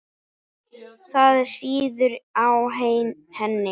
Það sýður á henni.